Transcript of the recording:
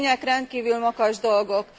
A tények rendkívül makacs dolgok.